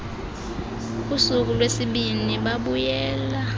kusuku lwesibini babuyela